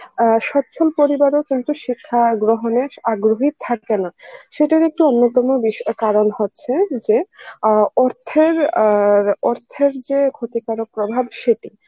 আ অচ্ছল পরিবারও কিন্তু শিক্ষা গ্রহণের আগ্রহী থাকেনা সেটার একটি অন্যতম বিশ~ কারণ হচ্ছে যে অ অর্থের আ র অর্থের যে ক্ষতিকারক প্রভাব সেটি,